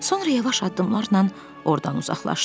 Sonra yavaş addımlarla ordan uzaqlaşdı.